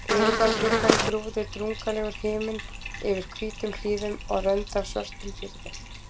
Fyrir utan gluggann grúfði drungalegur himinn yfir hvítum hlíðum og rönd af svörtum firði.